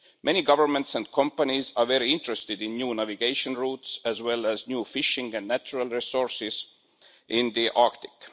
Many governments and companies are very interested in new navigation routes as well as new fishing and natural resources in the Arctic.